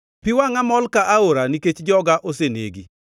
Pi wangʼa mol ka aora nikech joga osenegi.